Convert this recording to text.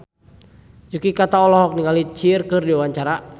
Yuki Kato olohok ningali Cher keur diwawancara